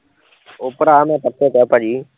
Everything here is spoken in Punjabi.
ਓਹ ਭਰਾ ਮੈਂ ਪਰਸੋਂ ਕਿਹਾਂ ਭਾਜੀ